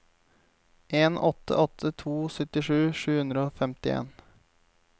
en åtte åtte to syttisju sju hundre og femtien